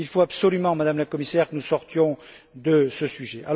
Il faut absolument, Madame la Commissaire, que nous sortions de ce sujet.